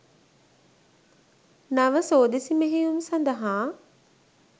නව සෝදිසි මෙහෙයුම් සඳහා